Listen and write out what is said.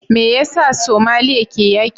Me yasa Somalia ke yaki?